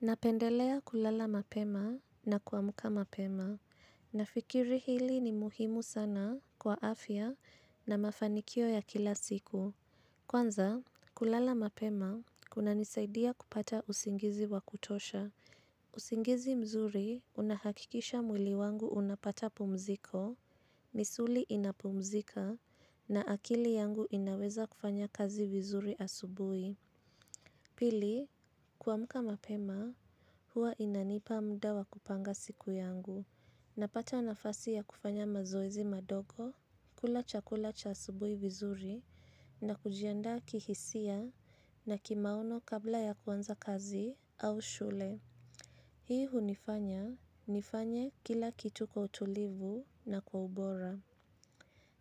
Napendelea kulala mapema na kwamuka mapema. Na fikiri hili ni muhimu sana kwa afya na mafanikio ya kila siku. Kwanza, kulala mapema kuna nisaidia kupata usingizi wa kutosha. Usingizi mzuri unahakikisha mwili wangu unapata pumziko, misuli inapumzika, na akili yangu inaweza kufanya kazi vizuri asubui. Pili, kuamuka mapema huwa inanipa mdawa kupanga siku yangu na pata nafasi ya kufanya mazoezi madogo, kula chakula cha asubui vizuri na kujianda kihisia na kimaono kabla ya kwanza kazi au shule. Hii hunifanya nifanye kila kitu kwa utulivu na kwa ubora.